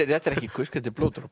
þetta er ekki kusk þetta er blóðdropi